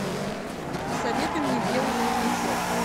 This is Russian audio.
посоветуй мне белый воротничок